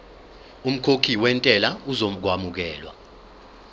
umkhokhi wentela uzokwamukelwa